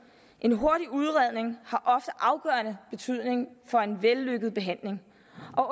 en hurtig udredning har ofte afgørende betydning for en vellykket behandling og